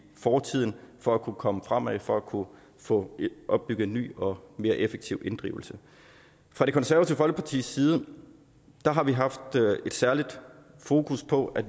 fortiden for at kunne komme fremad og for at kunne få opbygget en ny og mere effektiv inddrivelse fra det konservative folkepartis side har vi haft et særligt fokus på at